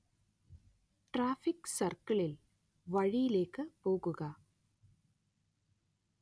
traffic സർക്കിളിൽ, വഴിയിലേക്ക് പോവുക